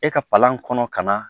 E ka palan kɔnɔ ka na